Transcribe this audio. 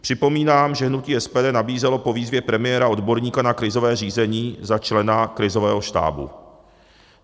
Připomínám, že hnutí SPD nabízelo po výzvě premiéra odborníka na krizové řízení za člena krizového štábu.